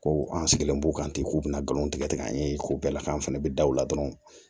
Ko an sigilen b'u kan ten k'u bɛna nkalon tigɛ tigɛ an ye ko bɛɛ la k'an fana bɛ da o la dɔrɔn